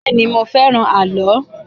Bẹ́ẹ̀ ni, mo fẹ́ràn àlọ́.